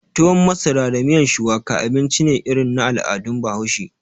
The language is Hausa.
Tuwon masara da miyan shuwaka, abinci ne irin na al'adun bahaushe